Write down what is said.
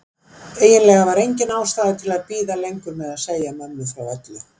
Eiginlega var engin ástæða til að bíða lengur með að segja mömmu frá öllu.